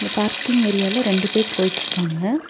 Parking ஏரியால ரெண்டு பேர் போயிட்ருக்காங்க.